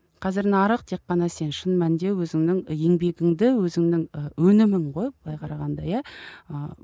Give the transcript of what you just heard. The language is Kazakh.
қазір нарық тек қана сен шын мәнінде өзіңнің еңбегіңді өзіңнің і өнімің ғой былай қарағанда иә ыыы